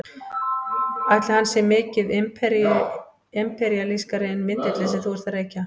Ætli hann sé mikið imperíalískari en vindillinn sem þú ert að reykja?